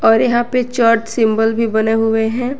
और यहां पे चर्च सिंबल भी बने हुए हैं।